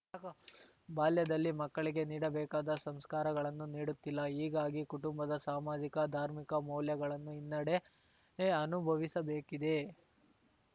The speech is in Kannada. ಬಾಲ್ಯದಲ್ಲಿ ಮಕ್ಕಳಿಗೆ ನೀಡಬೇಕಾದ ಸಂಸ್ಕಾರಗಳನ್ನು ನೀಡುತ್ತಿಲ್ಲ ಹೀಗಾಗಿ ಕುಟುಂಬದ ಸಾಮಾಜಿಕ ಧಾರ್ಮಿಕ ಮೌಲ್ಯಗಳನ್ನು ಹಿನ್ನಡೆ ಅನುಭವಿಸಬೇಕಿದೆ